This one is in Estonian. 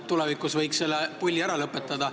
Tulevikus võiks selle pulli ära lõpetada.